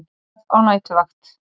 Ég verð á næturvakt.